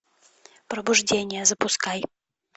пробуждение запускай